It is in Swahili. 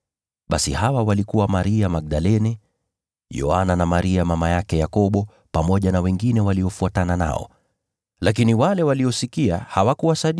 Basi Maria Magdalene, Yoana, na Maria mama yake Yakobo, pamoja na wanawake wengine waliofuatana nao ndio waliwaelezea mitume habari hizi.